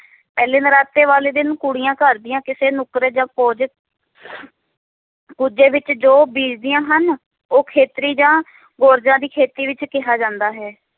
ਪਹਿਲੇ ਨਰਾਤੇ ਵਾਲੇ ਦਿਨ ਕੁੜੀਆਂ ਘਰ ਦੀਆਂ ਕਿਸੇ ਨੁੱਕਰੇ ਜਪੋਜੀਤ ਕੁੱਜੇ ਵਿਚ ਜੋ ਬੀਜਦੀਆਂ ਹਨ ਉਹ ਖੇਤਰੀ ਜਾਂ ਦੀ ਖੇਤੀ ਵਿਚ ਕਿਹਾ ਜਾਂਦਾ ਹੈ